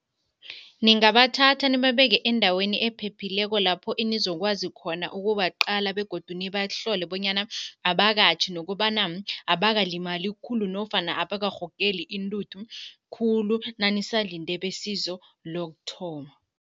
Ningabathatha nibabeke endaweni ephephileko lapho enizokwazi khona ukubaqala begodu nibahlole bonyana abakatjhi nokobana abakalimali khulu nofana abakarhogeli intuthu khulu nanisalinde besizo lokuthoma.